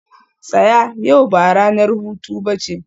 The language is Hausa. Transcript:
tsaya! yau ba ranar hutu ba ce